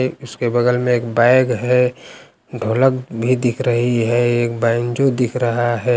ये उसके बगल में एक बैग है ढोलक भी दिख रही है एक बैंजो दिख रहा है।